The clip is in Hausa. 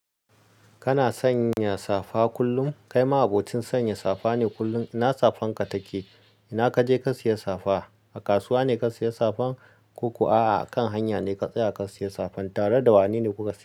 Kana sanya safa kullum? Kai ma abokin sanya safa ne kullum. Ina safan ka take? Ina kaje ka siya safa? A kasuwa ne ka siya safan ku kuwa a'a akan hanya ne ka tsaya ka siya safan? Tare da wane ne kuka siya?